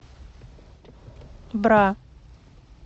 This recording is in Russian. бра